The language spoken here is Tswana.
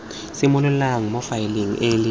simololang mo faeleng e le